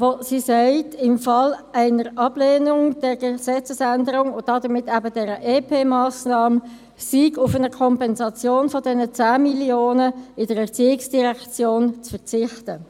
Sie besagt: Im Fall einer Ablehnung der Gesetzesänderung und damit eben dieser EP-Massnahme sei auf eine Kompensation dieser 10 Mio. Franken in der ERZ zu verzichten.